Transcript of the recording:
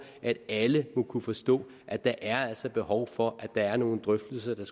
at alle må kunne forstå at der er behov for at der er nogle drøftelser der